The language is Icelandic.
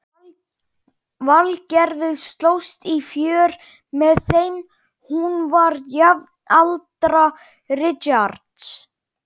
Valgerður slóst í för með þeim, hún var jafnaldra Richards.